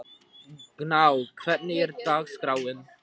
Gná, hvernig er dagskráin?